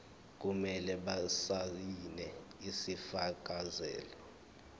kumele basayine isifakazelo